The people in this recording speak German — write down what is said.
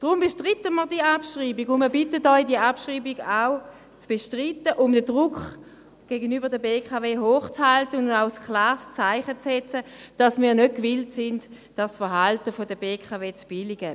Deshalb bestreiten wir diese Abschreibung, und wir bitten Sie, diese Abschreibung auch zu bestreiten, um den Druck gegenüber der BKW aufrechtzuhalten und ein klares Zeichen zu setzen, wonach wir nicht gewillt sind, das Verhalten der BKW zu billigen.